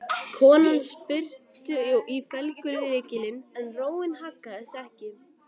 Konan spyrnti í felgulykilinn en róin haggaðist ekki.